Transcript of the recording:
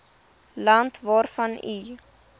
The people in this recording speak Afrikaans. land waarvan u